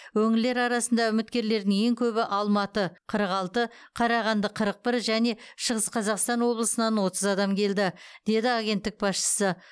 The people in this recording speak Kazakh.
өңірлер арасында үміткерлердің ең көбі алматы қырық алты қарағанды қырық бір және шығыс қазақстан облысынан отыз адам келді деді агенттік басшысы